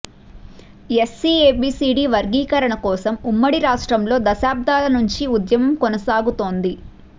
SC A B C D వర్గీకరణ కోసం ఉమ్మడి రాష్ట్రంలో దశాబ్దాల నుంచీ ఉద్యమం కొనసాగుతోంది